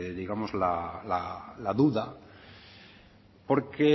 la duda porque